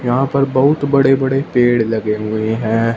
यहां पर बहुत बड़े बड़े पेड़ लगे हुए हैं।